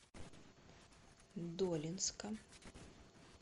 долинска